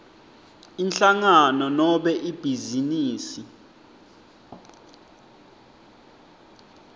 inhlangano nobe ibhizinisi